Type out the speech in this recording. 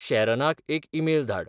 शॅरनाक एक ईमेल धाड